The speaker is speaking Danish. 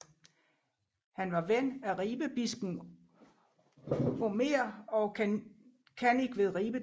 Han var ven af Ribebispen Omer og kannik ved Ribe Domkirke